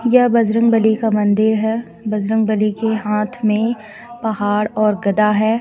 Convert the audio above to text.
यह बजरंगबली का मंदिर है बजरंगबली के हाथ मे पहाड़ और गदा है.